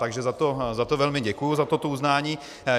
Takže za to velmi děkuji, za toto uznání.